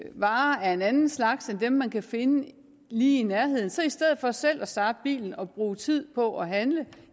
varer af en anden slags end dem man kan finde lige i nærheden så i stedet for selv at starte bilen og bruge tid på at handle